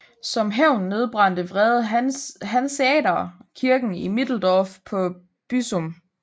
Som hævn nedbrændte vrede hanseatere kirken i Middeldorf på Büsum